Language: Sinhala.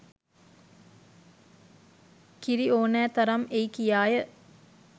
කිරි ඕනෑ තරම් එයි කියාය